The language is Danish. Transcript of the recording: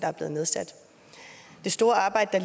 er blevet nedsat det store arbejde